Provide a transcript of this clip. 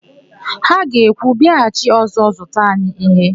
Ha ga-ekwu, " bịaghachi ọ̀zọ́ zụta anyị íhẹ́"!